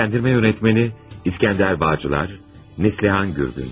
Səsləndirmə rejissoru İskəndər Bağcılar, Neslihan Gürgün.